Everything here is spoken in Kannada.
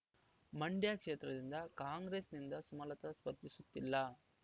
ಮಂಡ್ಯ ಕ್ಷೇತ್ರದಿಂದ ಕಾಂಗ್ರೆಸ್‌ನಿಂದ ಸುಮಲತ ಸ್ಪರ್ಧಿಸುತ್ತಿಲ್ಲ